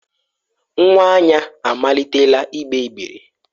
Nwa Anya amalitela igbe igbere.